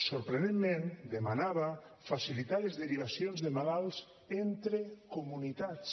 sorprenentment demanava facilitar les derivacions de malalts entre comunitats